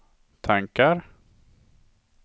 tankar